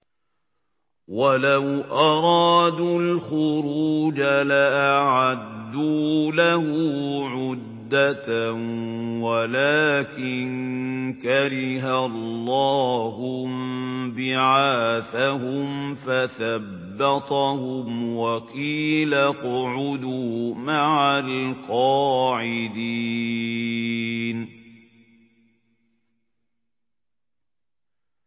۞ وَلَوْ أَرَادُوا الْخُرُوجَ لَأَعَدُّوا لَهُ عُدَّةً وَلَٰكِن كَرِهَ اللَّهُ انبِعَاثَهُمْ فَثَبَّطَهُمْ وَقِيلَ اقْعُدُوا مَعَ الْقَاعِدِينَ